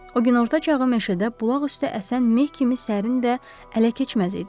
O günorta çağı meşədə bulaq üstü əsən meh kimi sərin və ələkeçməz idi.